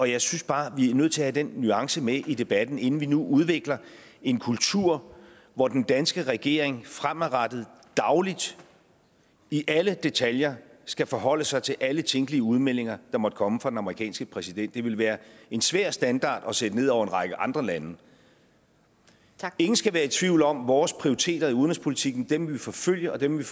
jeg synes bare at vi er nødt til at have den nuance med i debatten inden vi nu udvikler en kultur hvor den danske regering fremadrettet dagligt i alle detaljer skal forholde sig til alle tænkelige udmeldinger der måtte komme fra den amerikanske præsident det ville være en svær standard at sætte ned over en række andre lande ingen skal være i tvivl om vores prioriteter i udenrigspolitikken dem vil vi forfølge dem vil